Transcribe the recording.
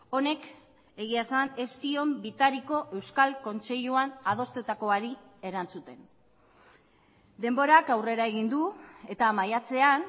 honek egia esan ez zion bitariko euskal kontseiluan adostutakoari erantzuten denborak aurrera egin du eta maiatzean